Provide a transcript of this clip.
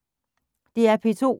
DR P2